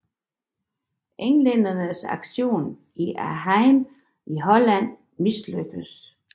Englændernes aktion i Arnheim i Holland mislykkes